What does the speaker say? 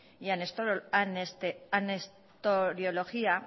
y anestoriología